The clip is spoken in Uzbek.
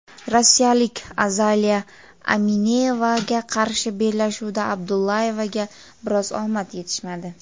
rossiyalik Azaliya Aminevaga qarshi bellashuvda Abdullayevaga biroz omad yetishmadi.